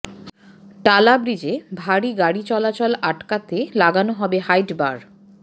টালা ব্রিজে ভারী গাড়ি চলাচল আটকাতে লাগানো হবে হাইট বার